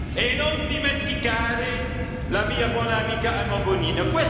E non dimentichiamo la mia buona amica Emma Bonino.